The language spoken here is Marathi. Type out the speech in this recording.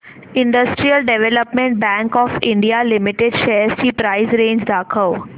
industrial development bank of India limited shares ची प्राइस रेंज दाखव